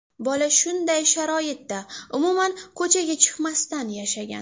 Bola shunday sharoitda, umuman ko‘chaga chiqmasdan yashagan.